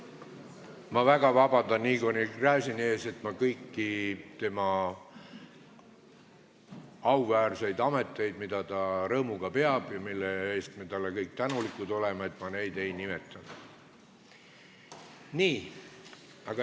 Ma väga vabandan Igor Gräzini ees, et ma kõiki tema auväärseid ameteid, mida ta rõõmuga peab ja mille eest me kõik oleme talle tänulikud, ei nimetanud.